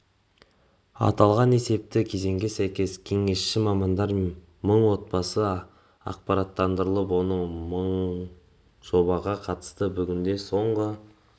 аталған есепті кезеңге сәйкес кеңесші мамандар мың отбасыны ақпараттандырып оның мыңы жобаға қатысты бүгінде соңғы